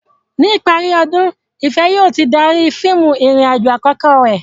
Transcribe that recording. Ní ìparí ọdún, Ìfẹ̀ yóò ti darí fíìmù ìrìn-àjò àkọ́kọ́ rẹ̀.